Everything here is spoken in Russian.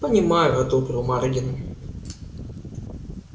понимаю одобрил маргин